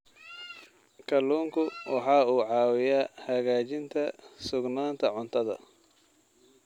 Kalluunku waxa uu caawiyaa hagaajinta sugnaanta cuntada.